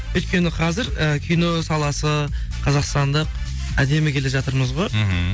өйткені қазір і кино саласы қазақстандық әдемі келе жатырмыз ғой мхм